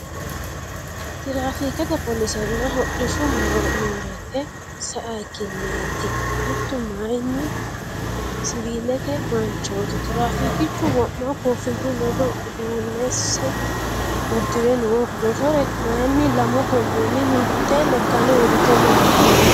Tirafikete polisena hodhishshu morete sayiikileti mittu mayiini siwilete manchoti tirafikichu wo'ma kofiyu ledo udunesa udirre no mottore mayiini lamu goomini mitte lekkani uurite no.